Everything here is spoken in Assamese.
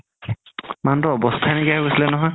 মানুহতোৰ আৱস্তা নাইকিয়া হৈ গৈছিলে নহয়